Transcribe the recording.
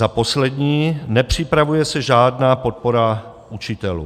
Za poslední, nepřipravuje se žádná podpora učitelů.